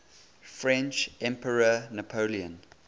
french emperor napoleon